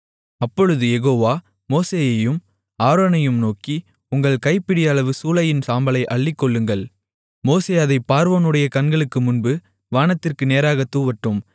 அப்பொழுது யெகோவா மோசேயையும் ஆரோனையும் நோக்கி உங்கள் கைப்பிடி அளவு சூளையின் சாம்பலை அள்ளிக்கொள்ளுங்கள் மோசே அதைப் பார்வோனுடைய கண்களுக்குமுன்பு வானத்திற்கு நேராக தூவட்டும்